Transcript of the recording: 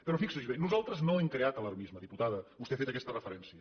però fixi s’hi bé nosaltres no hem creat alarmisme diputada vostè ha fet aquesta referència